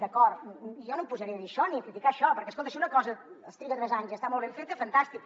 d’acord jo no em posaré a dir això ni a criticar això perquè escolta si una cosa es triga tres anys i està molt ben feta fantàstic